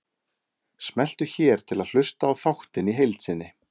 Smelltu hér til að hlusta á þáttinn í heild sinni